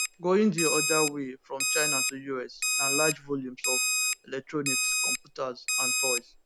going di oda way from china to us na large volumes of electronics computers and toys